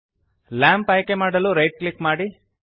lamp ಆಯ್ಕೆಮಾಡಲು right click ಮಾಡಿ